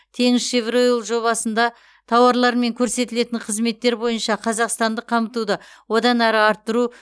теңізшевроил жобасында тауарлар мен көрсетілетін қызметтер бойынша қазақстандық қамтуды одан әрі арттыру